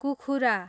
कुखुरा